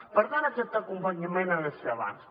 per tant aquest acompanyament ha de ser abans